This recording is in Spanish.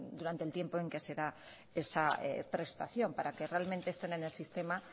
durante el tiempo en que se da esa prestación para que realmente estén en el sistema